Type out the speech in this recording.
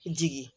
Jigi